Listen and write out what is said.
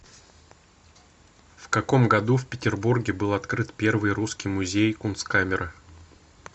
в каком году в петербурге был открыт первый русский музей кунсткамера